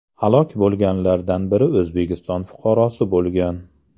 Halok bo‘lganlardan biri O‘zbekiston fuqarosi bo‘lgan.